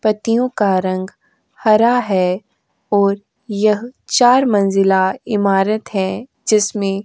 पत्तियों का रंग हरा है ओर यह चार मंजिला इमारत है जिसमें --